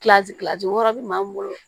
wɔɔrɔ bi maa mun bolo